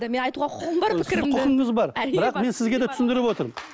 мен айтуға құқығым бар пікірімлі құқыңыз бар бірақ мен сізге түсіндіріп отырмын